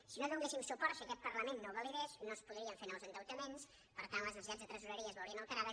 si no hi donéssim suport si aquest parlament no ho validés no es podrien fer nous endeutaments per tant les necessitats de tresoreria es veurien alterades